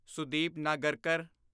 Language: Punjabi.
ਸੁਦੀਪ ਨਾਗਰਕਰ